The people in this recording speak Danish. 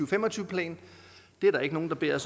fem og tyve plan er der ikke nogen der beder